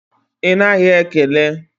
Ị naghị ekele?